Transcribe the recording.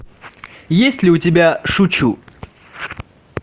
есть ли у тебя шучу